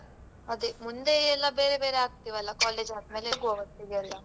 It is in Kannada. ಅದೆ ಮುಂದೇ ಎಲ್ಲಾ ಬೇರೆ ಆಗ್ತೆವಲ್ಲ college ಆದ್ ಮೇಲೆ ಹೋಗ್ವ ಒಟ್ಟಿಗೆ ಎಲ್ಲಾ.